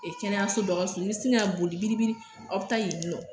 E kɛnɛyaso dɔ ka surun i bɛ sin ka boli biribiri aw bɛ taa yen nɔ